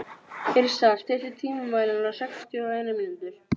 Eftir það sá hann víðast hvar báða kanta.